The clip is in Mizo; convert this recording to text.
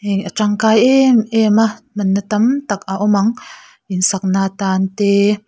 a tangkai em em a hmanna tam tak a awm ang insak na atan te--